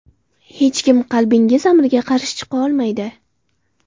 Hech kim qalbingiz amriga qarshi chiqa olmaydi.